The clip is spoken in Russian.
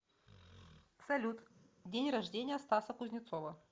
салют день рождения стаса кузнецова